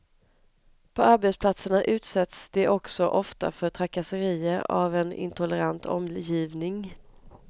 På arbetsplatserna utsätts de också ofta för trakasserier av en intolerant omgivning.